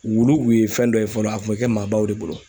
Wuluw kun ye fɛn dɔ ye fɔlɔ a kun bɛ kɛ maabaw de bolo.